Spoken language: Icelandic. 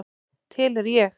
Til er ég.